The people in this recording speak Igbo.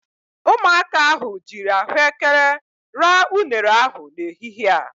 Ụmụaka ahụ jiiri ahụekere ra unere ahụ n'ehihie a.